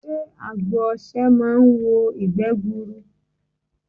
Sé àgbo osè máa n wo ìgbé gburu